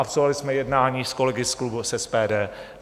Absolvovali jsme jednání s kolegy z klubu SPD.